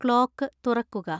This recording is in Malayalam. ക്ലോക്ക് തുറക്കുക